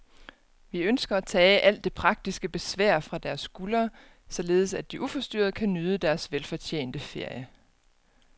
Vi ønsker at tage alt det praktiske besvær fra deres skuldre, således at de uforstyrret kan nyde deres velfortjente ferie.